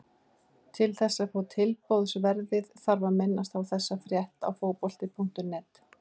Til þess að fá tilboðsverðið þarf að minnast á þessa frétt á Fótbolti.net.